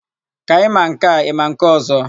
Ka ị ma nke a, ị ma nke ọ̀zọ́?